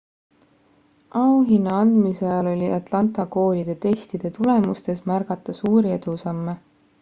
auhinna andmise ajal oli atlanta koolide testide tulemustes märgata suuri edusamme